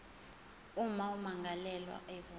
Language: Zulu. uma ummangalelwa evuma